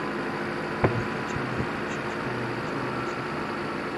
помогите мне включить канал на телевизоре